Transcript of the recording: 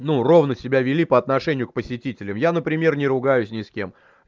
ну ровно себя вели по отношению к посетителям я например не ругаюсь ни с кем